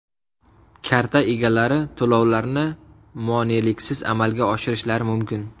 Karta egalari to‘lovlarni moneliksiz amalga oshirishlari mumkin.